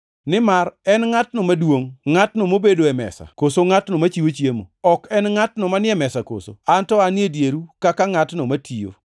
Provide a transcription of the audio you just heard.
Nimar en ngʼatno maduongʼ, ngʼatno mobedo e mesa koso ngʼatno machiwo chiemo? Ok en ngʼatno manie mesa koso? An to anie dieru kaka ngʼatno matiyo.